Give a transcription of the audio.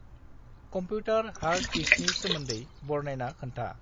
Computer hard दिकसि सोमोन्दै बरनायना खोन्था।